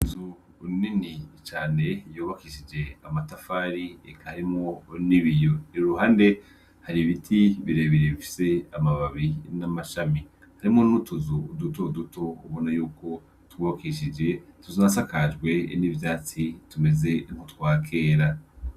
Inzu nini cane yubakishije amatafari Eka arimwo nibiyo iruhande hari ibiti birebire bifise amababi n'amashami harimo nutuzu uduto uduto ubona y'uko tubakishije tunasakajwe n'ivyatsi tumeze mu twakera.